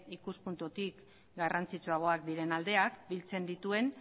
ikuspuntutik garrantzitsuagoak diren aldeak biltzen dituen